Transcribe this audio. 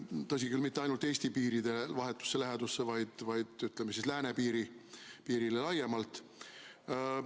Tõsi küll, mitte ainult Eesti piiride vahetusse lähedusse, vaid, ütleme, läänepiirile laiemalt.